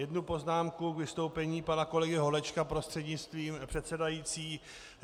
Jednu poznámku k vystoupení pana kolegy Holečka, prostřednictvím předsedající.